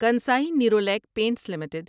Kansai Nerolac Paints limited